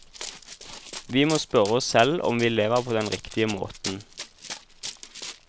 Vi må spørre oss selv om vi lever på den riktige måten.